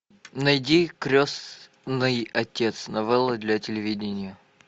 найди крестный отец новелла для телевидения